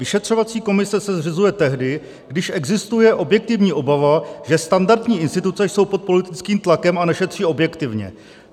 Vyšetřovací komise se zřizuje tehdy, když existuje objektivní obava, že standardní instituce jsou pod politickým tlakem a nešetří objektivně.